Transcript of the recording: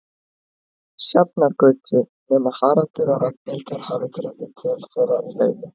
Sjafnargötu, nema Haraldur og Ragnhildur hafi gripið til þeirra í laumi.